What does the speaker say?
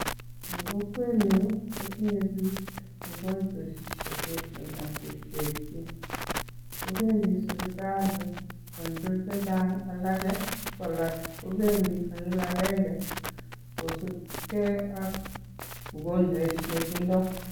En kokwenyun kotinye biik ukonchweshek cheterter ak cheterchin kopendi sipitali en tukuk chechang alage, kwalak kopendi konyil akenge kosupke ak ugonjwet netindoi.